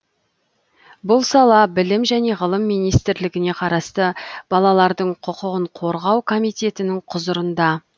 бұл сала білім және ғылым министрлігіне қарасты балалардың құқығын қорғау комитетінің құзырында